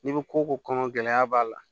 N'i ko ko kɔnɔ gɛlɛya b'a la